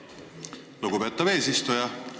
Aitäh, lugupeetav eesistuja!